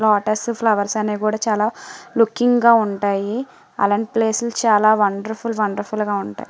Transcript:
Lotus flowers అనేవి కూడా చాలా లుకింగ్ గా ఉంటాయి. అలాంటి ప్లేసెస్ చాలా వండర్స్ ఫుల్ వండర్ ఫుల్ గా ఉంటాయి.